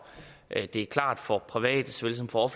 at det er klart for private såvel som for